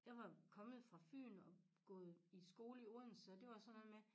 Jeg var kommet fra Fyn og gået i skole i Odense og det var sådan noget med